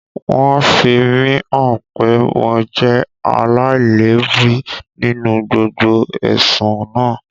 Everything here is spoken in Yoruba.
Wọ́n fi mí hàn pé mo jẹ́ aláìlẹ́bi nínú gbogbo ẹ̀sùn naa